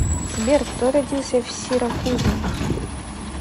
сбер кто родился в сиракузы